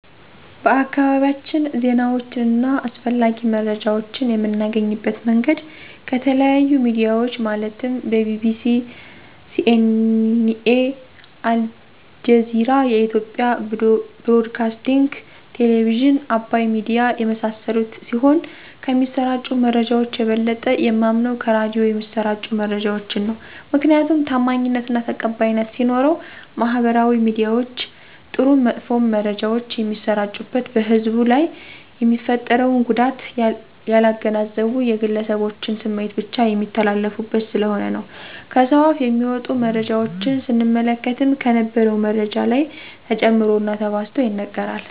በአካባቢያችን ዜናወችን አና አስፈላጊ መረጃወችን የምናገኝበት መንገድ ከተለያዮ ሚድያወች ማለትም ቢቢሲ :ሲኤንኤ :አልጀዚራ የኢትዮጵያ ብሮድካስቲንግ ቴሌብዝን :አባይ ሚድያ የመሳሰሉት ሲሆን ከሚሰራጩ መረጃወች የበለጠ የማምነው ከራዲዮ የሚሰራጩ መረጃወችን ነው። ምክንያቱም ታማኝነት አና ተቀባይነት ሲኖረው ማህበራዊ ሚድያወች ጥሩም መጥፎም መረጃወች የሚሰራጩበት በህብረተሰቡ ላይ የሚፈጥረውን ጉዳት ያላገናዘቡ የግለሰቦችን ስሜት ብቻ የሚተላለፉበት ስለሆነ ነው። ከሰውአፍ የሚወጡ መረጃወችን ስንመለከትም ከነበረው መረጃ ላይ ተጨምሮና ተባዝቶ ይነገራል።